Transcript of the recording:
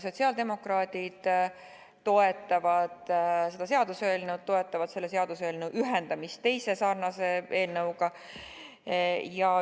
Sotsiaaldemokraadid toetavad seda seaduseelnõu ja ka selle ühendamist teise sarnase eelnõuga.